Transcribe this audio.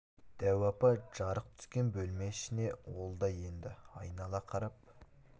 дәу апа жарық түскен бөлме ішіне ол да енді айнала қарап